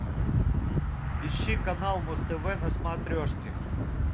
ищи канал муз тв на смотрешке